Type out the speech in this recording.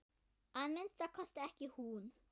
Að minnsta kosti ekki hún.